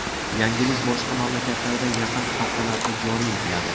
Yangilik boshqa mamlakatlarda yaqin haftalarda joriy etiladi.